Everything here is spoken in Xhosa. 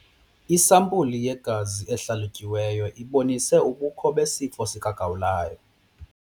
Isampulu yegazi ehlalutyiweyo ibonise ubukho besifo sikagawulayo.